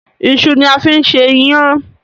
iṣu ni a fín ṣe iyan.